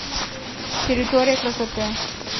территория красоты